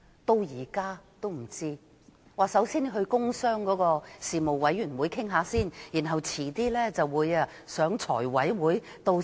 當局只說首先要在工商事務委員會討論，然後再在財務委員會討論。